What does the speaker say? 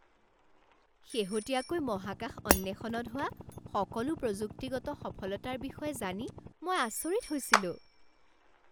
শেহতীয়াকৈ মহাকাশ অন্বেষণত হোৱা সকলো প্ৰযুক্তিগত সফলতাৰ বিষয়ে জানি মই আচৰিত হৈছিলোঁ।